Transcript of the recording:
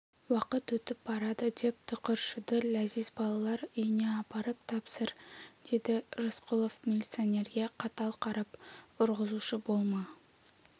уақыт өтіп барады деп тықыршыды ләзиз балалар үйіне апарып тапсыр деді рысқұлов милиционерге қатал қарап ұрғызушы болма